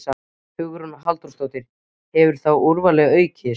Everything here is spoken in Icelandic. Hugrún Halldórsdóttir: Hefur þá úrvalið aukist?